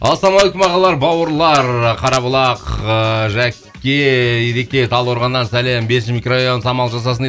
ассалаумағалейкум ағалар бауырлар қарабұлақ ыыы жәке ереке талдықорғаннан сәлем бесінші микрорайон самал жасасын дейді